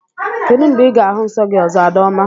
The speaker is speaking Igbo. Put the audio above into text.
Kedụ mgbe Ị ga-ahụ nsọ gị ọzọ, Adaoma?